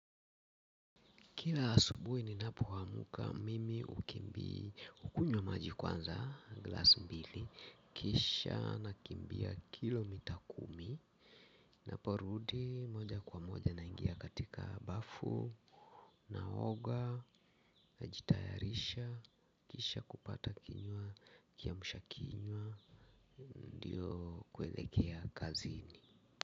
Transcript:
Kila asubuhi ninapoamka, mimi hukunywa maji kwanza glasi mbili kisha nakimbia kilomita kumi. Ninaporudi moja kwa moja naingia katika bafu. Naoga, najitayarisha, kisha kupata kiamsha kinywa ndiyo kuelekea kazini.